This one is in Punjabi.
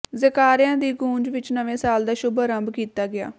ਜੈਕਾਰਿਆਂ ਦੀ ਗੂੰਜ ਵਿਚ ਨਵੇਂ ਸਾਲ ਦਾ ਸ਼ੁੱਭ ਆਰੰਭ ਕੀਤਾ ਗਿਆ